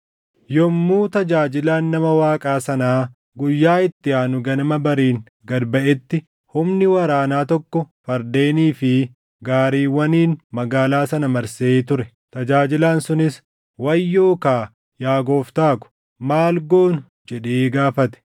Yommuu tajaajilaan nama Waaqaa sanaa guyyaa itti aanu ganama bariin gad baʼetti humni waraanaa tokko fardeenii fi gaariiwwaniin magaalaa sana marsee ture. Tajaajilaan sunis, “Wayyoo kaa, yaa gooftaa ko, maal goonu?” jedhee gaafate.